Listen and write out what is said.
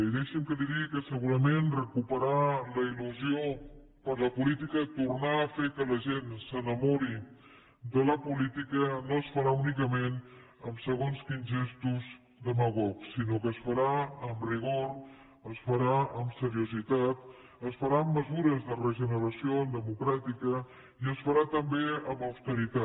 i deixi’m que li digui que segurament recuperar la il·lusió per la política tornar a fer que la gent s’enamori de la política no es farà únicament amb segons quins gestos demagogs sinó que es farà amb rigor és farà amb seriositat es farà amb mesures de regeneració democràtica i es farà també amb austeritat